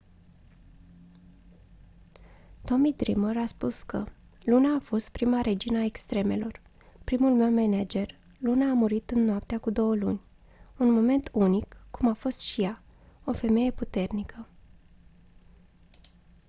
tommy dreamer a spus că «luna a fost prima regină a extremelor. primul meu manager. luna a murit în noaptea cu două luni. un moment unic cum a fost și ea. o femeie puternică.».